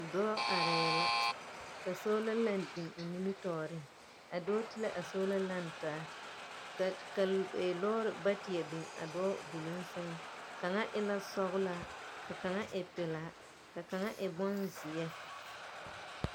Dͻͻ arԑԑ la ka soola lԑŋ biŋ o nimitͻͻreŋ. A dͻͻ te la a soola lԑŋ taa. ka lͻͻre baateԑ biŋ a lͻͻre doloŋ sԑŋ. Kaŋa e la sͻgelaa, ka kaŋa e pelaa ka kaŋa e bonzeԑ.